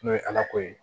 N'o ye ala ko ye